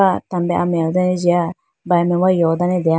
acha tambre amewedane jiga brayi mai wa yowe dane deya.